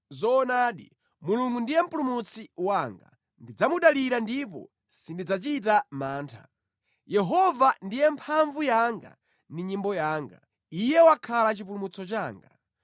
Zoonadi, Mulungu ndiye Mpulumutsi wanga; ndidzamudalira ndipo sindidzachita mantha. Yehova ndiye mphamvu yanga ndi nyimbo yanga; Iye wakhala chipulumutso changa.”